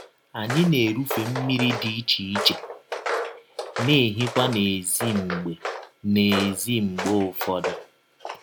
Anyị na - erụfe mmiri dị iche iche, na - ehikwa n’èzí mgbe n’èzí mgbe ụfọdụ.